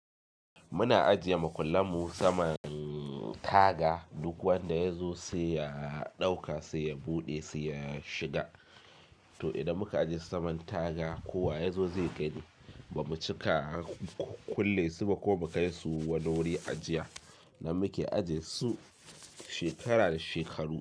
Muna ajiye makullan mu saman taga duk wanda ya zo sai ya ɗauka, sai ya buɗe, sai ya shiga. To idan muka ajiye saman taga kowa ya zo zai gani ba mu cika kulle su ba ko mu kai su wani wuri ajiya, nan muke ajiye su shekara da shekaru.